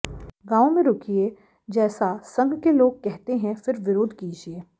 गाँवों में रूकिये जैसा संघ के लोग करते हैं फिर विरोध कीजिये